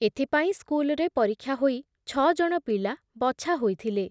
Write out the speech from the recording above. ଏଥିପାଇଁ ସ୍କୁଲରେ ପରୀକ୍ଷା ହୋଇ ଛ ଜଣ ପିଲା ବଛା ହୋଇଥିଲେ ।